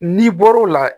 N'i bɔr'o la